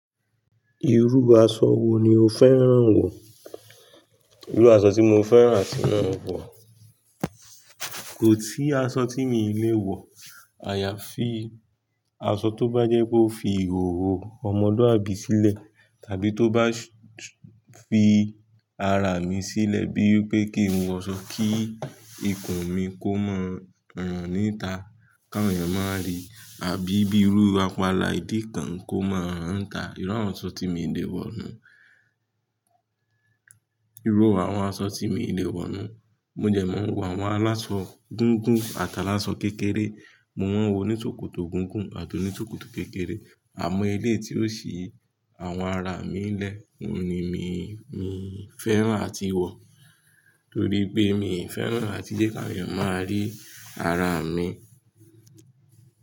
Irú aṣọ wo ni o fẹ́ràn wọ̀? Irú aṣọ tí mo fẹ́ràn àti máà wọ̀ kò tí aṣọ tí mo lè wọ̀. Àyà fi, aṣọ tó bá jẹ́ pe ó fi ìhòhò ọmọlúàbí sílẹ̀ tàbí tó bá sh- fi ara mi sílẹ̀ bí pé kí n wọ aṣọ kí ikùn mi kó máa ń ràn níta, kán awon eyan máa rí àbí bí irú apala ìdí kan kó máa hań tà. Irú awon aṣọ tí mo lè wọ̀ ni. Irú àwọn aṣọ tí mi lè wọ̀ nu. Mo de mo ń wọ àwọn aláṣọ gígùn àtàláṣọ kékeré. Mo wọ́n wo oní sòkòtò gígùn àti oní sòkòtò kékeré. Àmo eleyii tí ó sì àwọn ara mi lẹ, oun ni mí n fẹ́ràn àti wọ̀ torí pé mi ì fẹ́ràn áti jẹ́ káwon eyan máa rí ara mi.